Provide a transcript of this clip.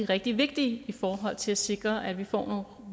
rigtig vigtige i forhold til at sikre at vi får